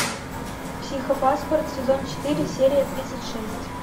психопаспорт сезон четыре серия тридцать шесть